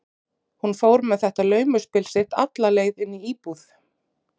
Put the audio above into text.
Hún fór með þetta laumuspil sitt alla leið inn í íbúð